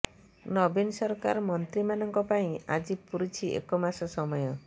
ନବୀନ ସରକାର ମନ୍ତ୍ରୀମାନଙ୍କ ପାଇଁ ଆଜି ପୂରୁଛି ଏକମାସ ସମୟ